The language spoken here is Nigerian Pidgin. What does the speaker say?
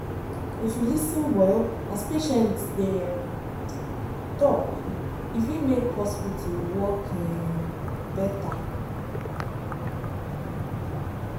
if you lis ten well as patient dey um talk e fit make hospital work um better.